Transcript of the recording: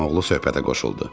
Əmioğlu söhbətə qoşuldu.